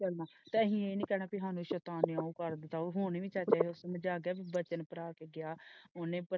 ਤਾ ਹੀ ਇਹ ਨਹੀਂ ਕਹਿਣਾ ਕੀ ਸ਼ੈਤਾਨ ਨੇ ਉਹ ਕਰ ਦਿੱਤਾ ਉਹ ਹੋਣੀ ਨਹੀਂ ਸੈੱਟ ਇਹ ਮਜਾਕ ਹੈ ਵਚਨ ਭਰਾ ਤੇ ਗਿਆ ਉਹਨੇ।